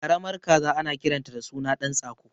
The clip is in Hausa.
Karamar kaza ana kiranta da suna ɗan tsako